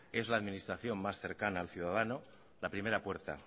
es la administración más cerca al ciudadano la primera puerta